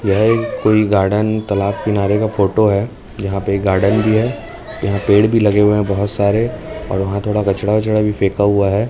यह एक कोई गार्डन तालाब किनारे का फोटो है यहाँ पे एक गार्डन भी है यहाँ पेड़ भी लगे हुए हैं बहोत सारे और वहां थोड़ा कचड़ा ओचड़ा भी फेका हुआ है।